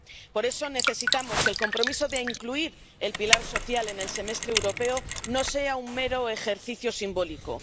Por eso necesitamos que el compromiso de incluir el pilar social en el Semestre Europeo no sea un mero ejercicio simbólico.